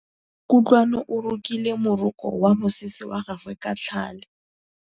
Kutlwanô o rokile morokô wa mosese wa gagwe ka tlhale.